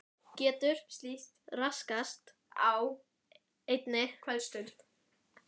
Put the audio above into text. Getur slíkt raskast á einni kvöldstund?